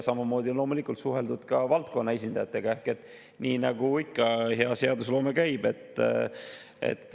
Samamoodi on loomulikult suheldud valdkonna esindajatega, nii nagu ikka hea seadusloome käib.